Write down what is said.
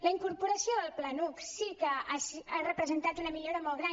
la incorporació del planuc sí que ha representat una millora molt gran